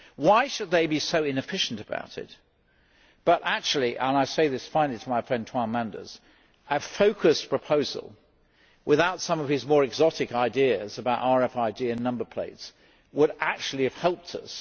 Why should they be so inefficient about it? But actually and I say this finally to my friend Toine Manders a focused proposal, without some of his more exotic ideas about RFID and number plates, would actually have helped us.